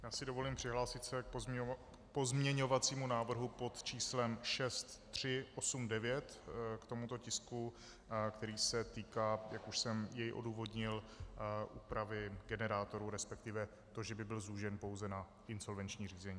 Já si dovolím přihlásit se k pozměňovacímu návrhu pod číslem 6389 k tomuto tisku, který se týká, jak už jsem jej odůvodnil, úpravy generátoru, respektive to, že by byl zúžen pouze na insolvenční řízení.